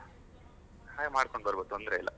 ಹಾಗೆ ಮಾಡ್ಕೊಂಡ್ ಬರುವ ತೊಂದರೆ ಇಲ್ಲ.